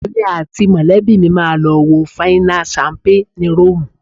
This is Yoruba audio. Èmi àti mọ̀lẹ́bí mi máa lọ wo fáínà ṣámpé ni Róòmù